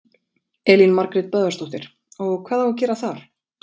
Elín Margrét Böðvarsdóttir: Og hvað á að gera þar?